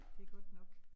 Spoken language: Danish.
Det godt nok